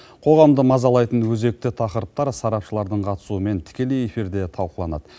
қоғамды мазалайтын өзекті тақырыптар сарапшылардың қатысуымен тікелей эфирде талқыланады